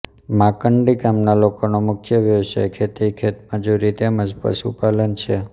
માંકડી ગામના લોકોનો મુખ્ય વ્યવસાય ખેતી ખેતમજૂરી તેમ જ પશુપાલન છે